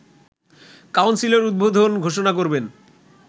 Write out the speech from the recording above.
কাউন্সিলের উদ্বোধন ঘোষণা করবেন